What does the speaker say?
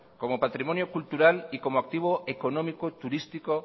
como patrimonio cultural y como activo económico turístico